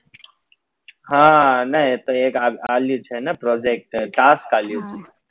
હા ના એ તો એક આલ્યું છે ને project